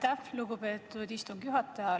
Aitäh, lugupeetud istungi juhataja!